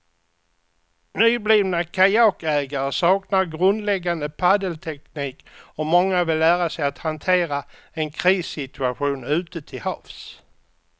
Nyblivna kajakägare saknar grundläggande paddelteknik och många vill lära sig att hantera en krissituation ute till havs.